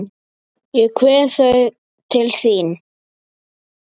Ég kveð þau til þín.